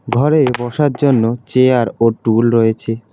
ঘরে বসার জন্য চেয়ার ও টুল রয়েছে।